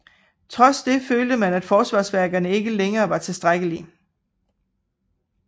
Trods det følte man at forsvarsværkerne ikke længere var tilstrækkelige